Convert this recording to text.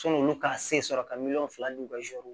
Sɔn'olu ka se sɔrɔ ka miliyɔn fila ni ka zɛri